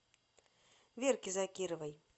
верке закировой